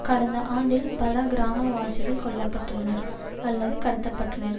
கடந்த ஆண்டில் பல கிராமவாசிகள் கொல்ல பட்டுள்ளனர் அல்லது கடத்தப்பட்டுள்ளனர்